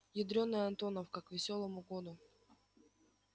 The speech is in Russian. ядрёная антоновка к весёлому году